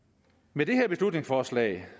med det her beslutningsforslag